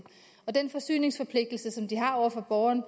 og den forsyningsforpligtelse over for borgerne